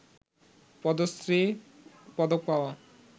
পদ্মশ্রী পদক পাওয়া